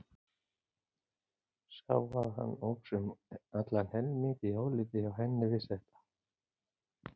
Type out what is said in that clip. Sá að hann óx um allan helming í áliti hjá henni við þetta.